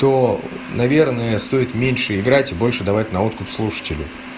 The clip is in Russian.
то наверное стоит меньше играть и больше давать на откуп слушателю